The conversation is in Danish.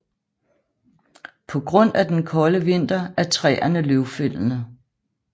På grund af den kolde vinter er træerne løvfældende